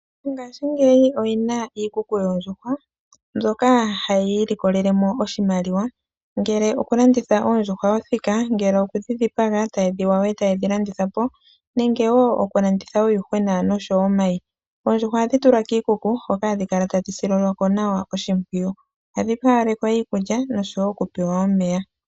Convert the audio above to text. Mongashingeyi aantu oyena iikuku yoondjuhwa mbyoka hayi ilikolelemo oshimaliwa, ongele okulanditha oondjuhwa othika, ongele okudhi dhipaga etaye dhi yaya, etayedhi landithapo , nenge wo okulanditha uuyuhwena oshowoo omayi. Oondjuhwa ohadhi tulwa kiikuku hoka hadhi kala tadhi sililwako nawa oshimpwiyu . Ohadhi haalekwa iikulya noshowoo okupewa omeya.